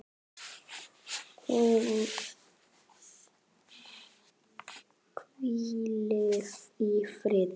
Hún hvíli í friði.